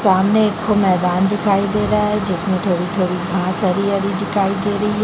सामने एकठो मैदान दिखाई दे रहा है जिसमे थोड़ी -थोड़ी घास हरी -हरी दिखाई दे रही है।